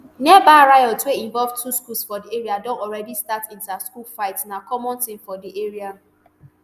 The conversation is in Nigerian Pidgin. nearby riot wey involve two schools for di area don already start interschool fight na common tin for di area